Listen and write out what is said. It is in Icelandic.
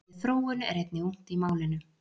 Orðið þróun er einnig ungt í málinu.